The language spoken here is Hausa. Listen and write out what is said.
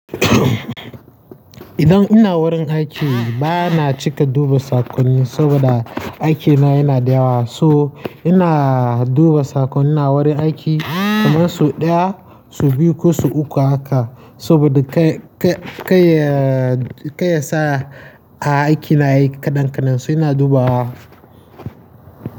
Idan ina wurin aiki bana cika duba sakonni saboda aikina yana da yawa. So ina duba sakonnina wurin aiki kamar su ɗaya, su biyu ko su uku haka saboda ka-ka-ka-kayi, kayi sa a aiki nayi kaɗan kaɗan. So ina dubawa.